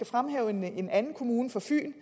fremhæve en anden kommune på fyn